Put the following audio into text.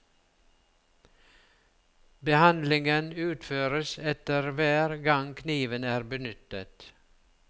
Behandlingen utføres etter hver gang kniven er benyttet.